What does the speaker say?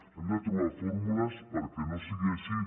hem de trobar fórmules perquè no sigui així